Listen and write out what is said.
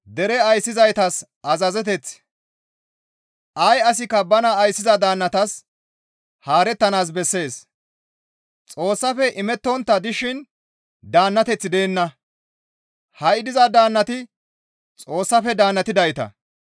Ay asikka bana ayssiza daannatas haarettanaas bessees; Xoossafe imettontta dishin daannateththi deenna; ha7i diza daannati Xoossafe daannatidayta.